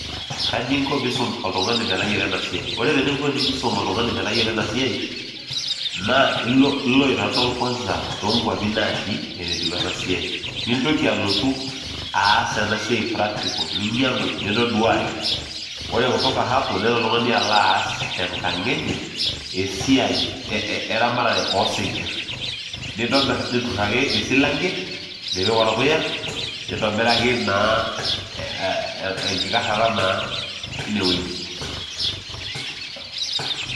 Kaji inko peyie iisum oltung'ani metayiolo eena siai? Ore ening'o teniyieu niisum oltung'ani metayiolo ena siai, naa ilo aitodol kwanza toonkwapi natii enetiu ena siai. Nintoki alotu aas ena siai practical ninyiang'u nintoduaki. Ore kutoka hapo nelo oltung'ani aas esiai eramatare osinkirr. Nintobirr, neturr aake esilanke nipik orpuya, nintobiraki naa enkikarrata naa einewueeji.